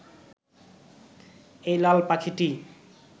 এই লাল পাখিটি